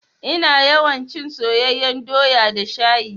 Ina yawan cin soyeyyan doya da shayi.